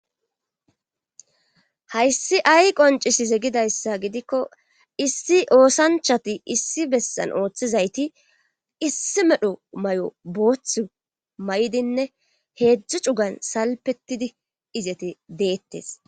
Hayssi ay qoncisi ze gidayssa gidikko issi oosanchati issi bessan ooththizayti issi medho may7o booth may7dinne heedzdzu cugan salpetidi izete deettes